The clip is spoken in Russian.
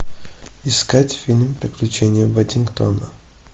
искать фильм приключения паддингтона